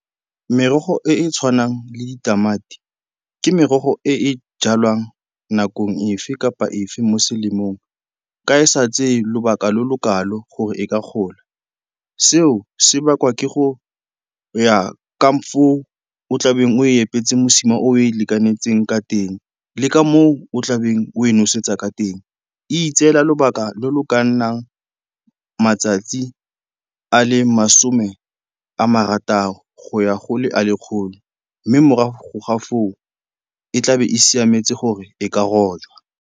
Merogo e e tshwanang le ditamati ke merogo e e jalwang nakong efe kapa efe mo selemong ka e sa tseye lobaka lo lo kalo gore e ka gola. Seo se bakwa ke go ya ka foo o tlabeng o epetse mosima o o e lekanetseng ka teng le ka moo o tlabeng o e nosetsa ka teng. E itseela lobaka lo lo ka nnang matsatsi a le masome a marataro go ya go le a le 'kgolo mme morago ga foo, e tlabe e siametse gore e ka rojwa.